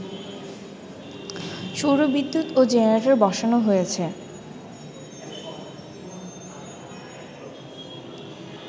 সৌর বিদ্যুৎ ও জেনারেটর বসানো হয়েছে